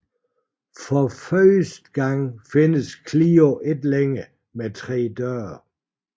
For første gang findes Clio ikke længere med tre døre